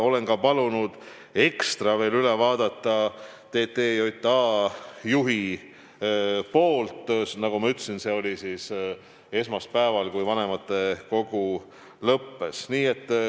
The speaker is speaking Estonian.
Olen palunud TTJA juhil selle veel ekstra üle vaadata, sest, nagu ma ütlesin, arutelu oli esmaspäeval, kui vanematekogu lõppes.